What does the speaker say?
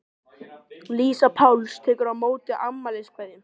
Lísa Páls tekur á móti afmæliskveðjum.